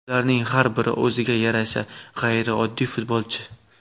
Ularning har biri o‘ziga yarasha g‘ayrioddiy futbolchi.